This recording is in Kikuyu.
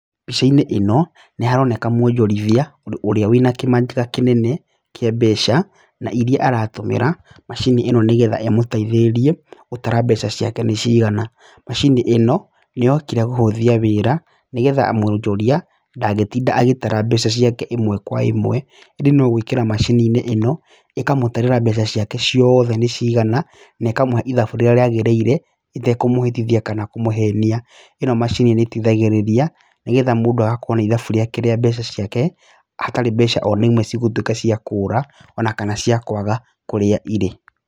Mbica-inĩ ĩno nĩharonekana mwonjoria ũria wĩna kĩmanjĩka kĩnene kĩa mbeca na iria aratũmĩra macini ĩno nĩgetha ĩmũteithĩrĩrie gũtara mbeca ciake nĩ cigana. Macini ĩno, nĩyokire kũhũthia wĩra nĩgetha mwojoria ndangĩtinda agĩtara mbeca ciake ĩmwe kwa ĩmwe, ĩndĩ nogũikĩra macini-inĩ ino ĩkamũtarĩra mbeca ciake ciothe nacigana na ĩkamũhe ĩthabu rĩrĩa riagĩrĩire ĩtekũmũhĩtithia kana kũmũhenia. Ĩno macini nĩ ĩteithagĩrĩria nĩgetha mũndũ agakorwo na ĩthabu riake rĩa mbeca ciake hatarĩ na mbeca imwe cigũkorwo nĩciakũra ona kana cia kwaga kũrĩa irĩ